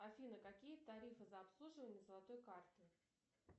афина какие тарифы за обслуживание золотой карты